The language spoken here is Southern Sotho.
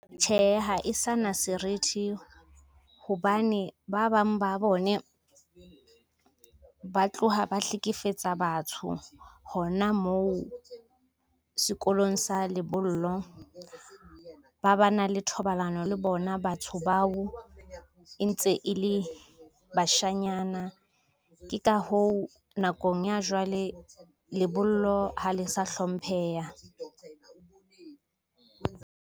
Tjhe, ha e sa na serithi hobane ba bang ba bone, ba tloha ba hlekefetsa batho hona moo sekolong sa lebollo. Ba ba na le thobalano le bona batho bao e ntse e le bashanyana. Ke ka hoo, nakong ya jwale lebollo ha le sa hlompheha.